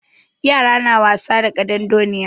Yara na wasa da ƙadandoniya.